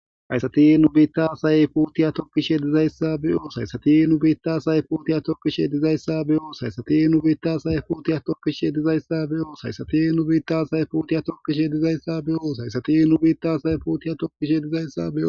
haysati nu biittasay putiya tokkishe dizayssa bi7o saysatinu biitta say putiya tokishe dizayssa be7o saysatinu biittasay putiya tokkishe dizayssa be7o saysati nu biitta say putiya tokkishe dizayssa bi7o haysatinu biitta say putiya tokkishe dizayssa beo